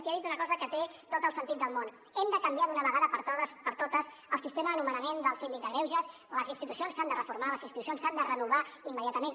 i ha dit una cosa que té tot el sentit del món hem de canviar d’una vegada per totes el sistema de nomenament del síndic de greuges les institucions s’han de reformar les institucions s’han de renovar immediatament